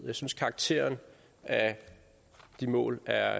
jeg synes karakteren af de mål er